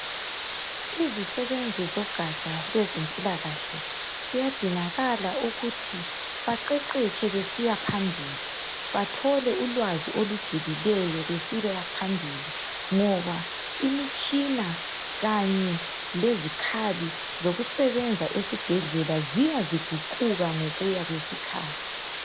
Izisebenzisa zogatsha lwezempilakahle kuyadingakala ukuthi baqeqetshe besiya phambili bathole ulwazi olujulileyo besiya phambili ngoba imitshina kanye le zikhali zokusebenza esibhedlela ziya ziguquka ngokuya kwesikhathi.